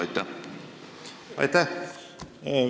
Aitäh!